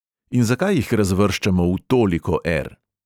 In zakaj jih razvrščamo v toliko er?